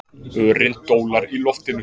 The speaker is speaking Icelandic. Örin dólar í loftinu.